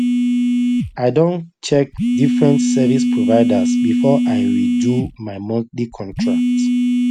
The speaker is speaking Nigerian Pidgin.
i Accepted check different service providers before i redo my monthly contract